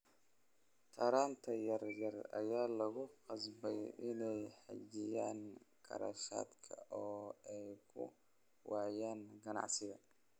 taranta yar yar ayaa lagu qasbay inay xajiyaan kharashka oo ay ku waayaan ganacsiga.